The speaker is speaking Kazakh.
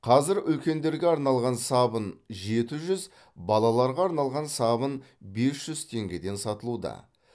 қазір үлкендерге арналған сабын жеті жүз балаларға арналған сабын бес жүз теңгеден сатылуда